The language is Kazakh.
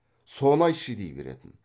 соны айтшы дей беретін